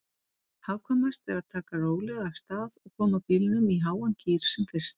Hagkvæmast er að taka rólega af stað og koma bílnum í háan gír sem fyrst.